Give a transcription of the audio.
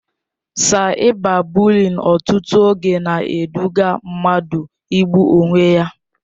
Saịba bụliịn ọtụtụ oge na-eduga mmadụ igbu onwe ya.